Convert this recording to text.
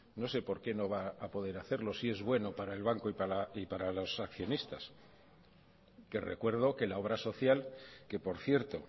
no sé porque no va a poder hacerlo si es bueno para el banco y para los accionistas que recuerdo que la obra social que por cierto